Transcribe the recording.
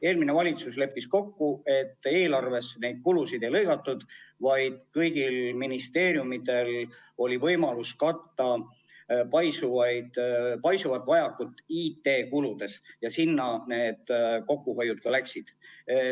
Eelmine valitsus leppis kokku, et eelarvest neid kulusid välja ei lõigatud, vaid kõigil ministeeriumidel oli võimalus katta nende abil oma paisuvat vajakajäämist IT-kuludes ja sinna see kokkuhoid ka läks.